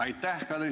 Aitäh!